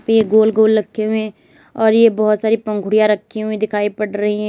ये गोल गोल रखे हुए है और ये बहुत सारी पंखुड़ियां रखी हुई दिखाई पड़ रही है।